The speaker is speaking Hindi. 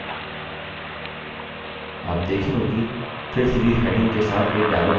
आप देखेंगे कि fill series heading के साथ एक dialog box दिखाई देता है